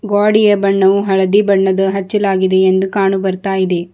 ಗ್ವಾಡಿಯ ಬಣ್ಣವು ಹಳದಿ ಬಣ್ಣದ ಹಚ್ಚಲಾಗಿದೆ ಎಂದು ಕಾಣು ಬರ್ತಾ ಇದೆ.